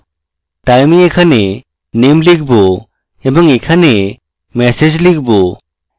তাই আমি এখানে name লিখব এবং এখানে message লিখব